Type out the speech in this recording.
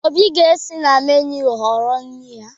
Obi ga-esi na meenụ họrọ nri ya.